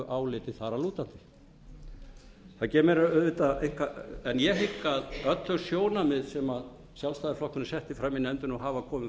áliti þar að lútandi en ég hygg að öllum þeim sjónarmiðum sem sjálfstæðisflokkurinn setti fram í nefndinni og hafa komið